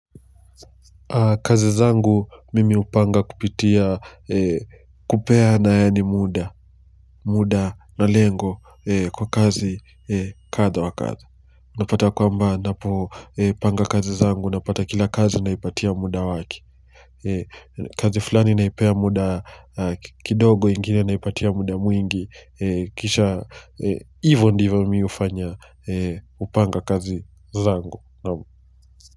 Kazi zangu mimi hupanga kupitia kupeana yaani muda, muda na lengo kwa kazi kadha wa kadha, napata kwamba ninapo panga kazi zangu napata kila kazi naipatia muda wake kazi fulani naipea muda kidogo ingine naipatia muda mwingi kisha hivo ndivyo mimi hufanya kupanga kazi zangu.